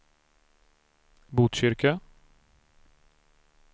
Botkyrka